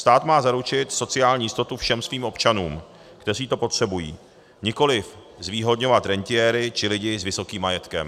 Stát má zaručit sociální jistotu všem svým občanům, kteří to potřebují, nikoliv zvýhodňovat rentiéry či lidi s vysokým majetkem.